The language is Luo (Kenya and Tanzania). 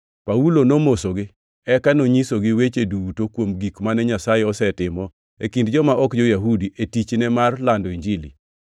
Paulo nomosogi, eka nonyisogi weche duto kuom gik mane Nyasaye osetimo e kind joma ok jo-Yahudi e tichne mar lando Injili.